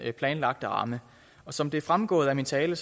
planlagte ramme og som det er fremgået af min tale